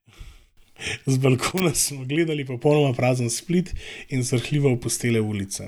Z balkona smo gledali popolnoma prazen Split in srhljivo opustele ulice.